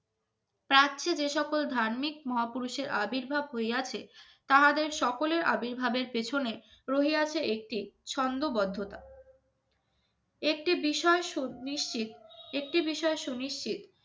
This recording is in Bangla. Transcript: প্রাচ্যে যে সকল ধার্মিক মহাপুরুষের আবির্ভাব হইয়াছে তাহাদের সকলের আবির্ভাব এর পেছনে রহিয়াছে একটি ছন্দবদ্ধতা একটি বিষয় সুনিশ্চিত রিসার্ সুনিশ্চিত